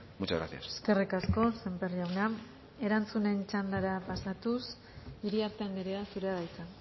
muchas gracias eskerrik asko sémper jauna erantzunen txandara pasatuz iriarte andrea zurea da hitza